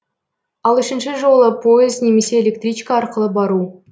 ал үшінші жолы пойыз немесе электричка арқылы бару